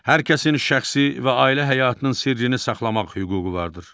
Hər kəsin şəxsi və ailə həyatının sirrini saxlamaq hüququ vardır.